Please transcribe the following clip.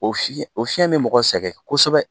O fi, o fiɲɛ bɛ mɔgɔ sɛgɛn kosɛbɛ.